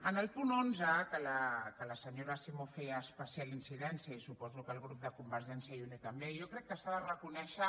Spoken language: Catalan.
en el punt onze que la senyora simó hi feia especial incidència i suposo que el grup de convergència i unió també jo crec que s’ha de reconèixer